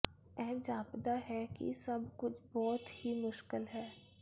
ਇਹ ਜਾਪਦਾ ਹੈ ਕਿ ਸਭ ਕੁਝ ਬਹੁਤ ਹੀ ਮੁਸ਼ਕਲ ਹੈ